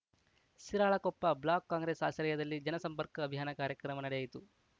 Shiralakoppa block Congress ಆಶ್ರಯದಲ್ಲಿ ಜನಸಂಪರ್ಕ ಅಭಿಯಾನ ಕಾರ್ಯಕ್ರಮ ನಡೆಯಿತು